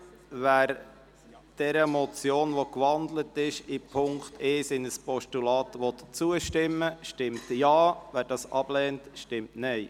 Wer dieser Motion, deren Punkt 1 in ein Postulat gewandelt wurde, zustimmen will, stimmt Ja, wer dies ablehnt, stimmt Nein.